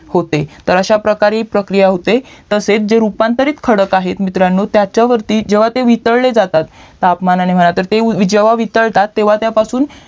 होते तर अश्याप्रकारे ही प्रक्रिया होते तसेच जे रूपांतरित खडक आहे मित्रांनो त्याच्यावरती जेव्हा ते वितळले जातात तापमानाने म्हणा जेव्हा ते वितळतात त्यापासून